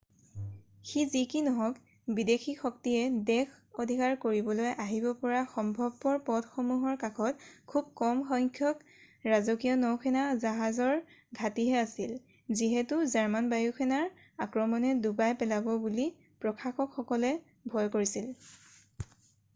সি যি কি নহওক বিদেশী শক্তিয়ে দেশ অধিকাৰ কৰিবলৈ আহিব পৰা সম্ভৱপৰ পথসমূহৰ কাষত খুব কম সংখ্যক ৰাজকীয় নৌসেনা জাহাজৰ ঘাটিহে আছিল যিহেতু জাৰ্মান বায়ু সেনাৰ আক্ৰমণে ডুবাই পেলাব বুলি প্ৰশাসকসকলে ভয় কৰিছিল